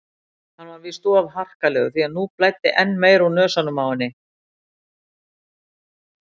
Hann var víst of harkalegur því nú blæddi enn meira úr nösunum á henni.